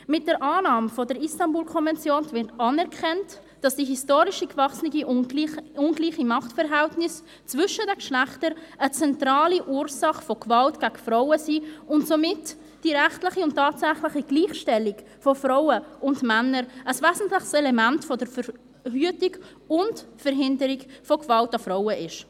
Mit der Annahme der Istanbul-Konvention wird anerkannt, dass die historisch gewachsenen ungleichen Machtverhältnisse zwischen den Geschlechtern eine zentrale Ursache von Gewalt gegen Frauen sind und somit die rechtliche und tatsächliche Gleichstellung von Frauen und Männern ein wesentliches Element von Verhütung und Verhinderung von Gewalt an Frauen ist.